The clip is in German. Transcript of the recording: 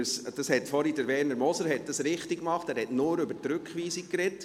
Vorher hat es Werner Moser richtiggemacht, er hat nur über die Rück- weisung gesprochen.